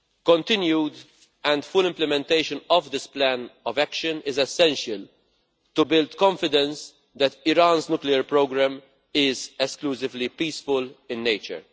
Continued and full implementation of this plan of action is essential to build confidence that Iran's nuclear programme is exclusively peaceful in nature.